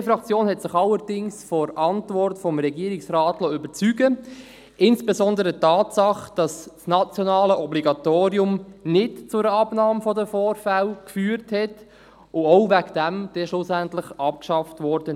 Die BDP-Fraktion hat sich allerdings von der Antwort des Regierungsrates überzeugen lassen, insbesondere von der Tatsache, dass das nationale Obligatorium nicht zu einer Abnahme der Vorfälle geführt hat und auch deswegen schlussendlich abgeschafft wurde.